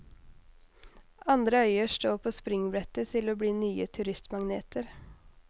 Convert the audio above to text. Andre øyer står på springbrettet til å bli nye turistmagneter.